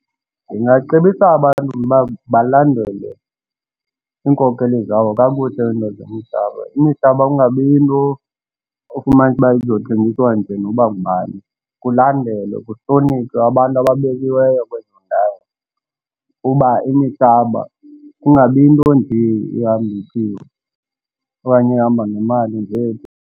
Ndingacebisa abantu mna ukuba balandele iinkokeli zabo kakuhle ziinto zomhlaba. Imihlaba kungabi yinto ufumanise uba izokuthengiswa nje noba ngubani. Kulandelwe kuhlonitshwe abantu ababekiweyo kwezo ndawo uba imihlaba kungabi yinto nje ehamba ityiwe okanye ehamba ngeemali nje.